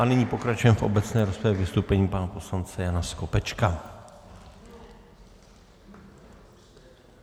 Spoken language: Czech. A nyní pokračujeme v obecné rozpravě vystoupením pana poslance Jana Skopečka.